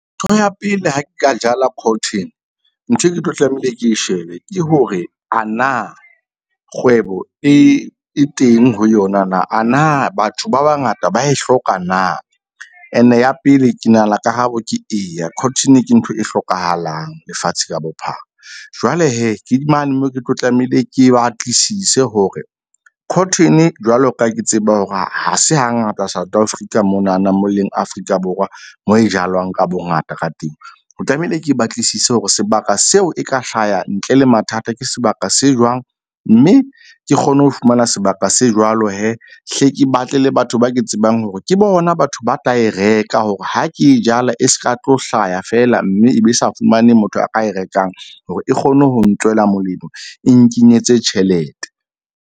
Ntho ya pele ha nka jala cotton nthwe ke tlo tlamehile ke shebe ke hore a na kgwebo e teng ho yona na. Ana batho ba bangata ba e hloka na, ene ya pele ke nahana karabo ke eya. Cotton-e ke ntho e hlokahalang lefatshe ka bophara. Jwale ke mane moo, ke tlo tlamehile ke batlisise hore cotton-e jwalo ka ha ke tseba hore ha se hangata South Afrika monana mo leng Afrika Borwa mo e jalwang ka bongata ka teng. O tlamehile ke batlisise hore sebaka seo e ka hlaha ntle le mathata. Ke sebaka se jwang mme ke kgone ho fumana sebaka se jwalo hle ke batle le batho ba ke tsebang hore ke hona batho ba tla e reka hore ha ke e jala, e ska tlo hlaya feela mme e be sa fumane motho a ka e rekang hore e kgone ho ntswela molemo e nkenyetse tjhelete.